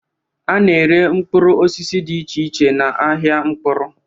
A na-ere mkpụrụ osisi dị iche iche n'ahịa mkpụrụ.